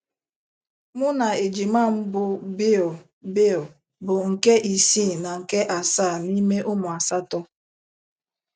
Mụ na ejima m bụ́ Bill Bill bụ nke isii na nke asaa n'ime ụmụ asatọ.